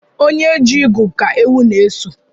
Onye chi igu Ka ewu n'eso